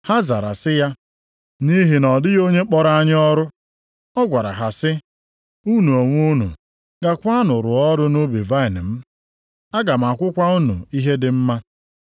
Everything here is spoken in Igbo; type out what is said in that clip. “Ha zara sị ya, ‘Nʼihi na ọ dịghị onye kpọrọ anyị ọrụ.’ “Ọ gwara ha sị, ‘Unu onwe unu gaakwanụ rụọ ọrụ nʼubi vaịnị m. Aga m akwụkwa unu ihe dị mma.’